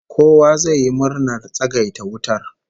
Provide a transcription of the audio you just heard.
Kowa zai yi murnar tsagaita wutar